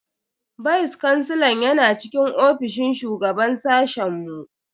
Vice kansilan yana cikin ofishin shugaban sashen mu.